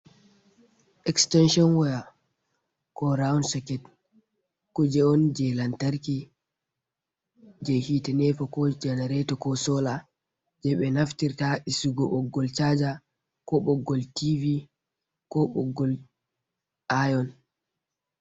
Extenshon waya ko round soket kuje on je lantarki je hite nepa ko jenareto ko sola je be naftirta isugo ɓoggol chaza ko boggol tivi ko boggol aion.